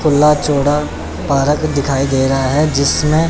खुला चौड़ा पारक दिखाई दे रहा है जिसमें--